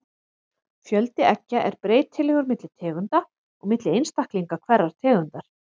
Fjöldi eggja er breytilegur milli tegunda og milli einstaklinga hverrar tegundar.